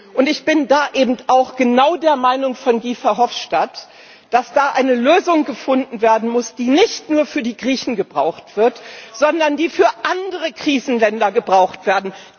Und ich bin da eben auch genau der Meinung von Guy Verhofstadt, dass da eine Lösung gefunden werden muss, die nicht nur für die Griechen gebraucht wird, sondern die für andere Krisenländer gebraucht wird.